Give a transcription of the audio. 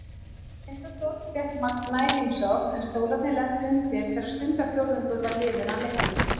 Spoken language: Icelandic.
Tindastóll fékk Magna í heimsókn, en Stólarnir lentu undir þegar stundarfjórðungur var liðinn af leiknum.